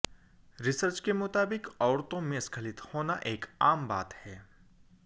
research के मुताबिक औरतों में स्खलित होना एक आम बात है